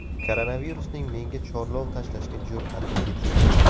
Koronavirusning menga chorlov tashlashga jur’ati yetibdi.